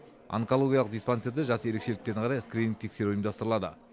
онкологиялық диспансерде жас ерекшеліктеріне қарай скрининг тексеру ұйымдастырлады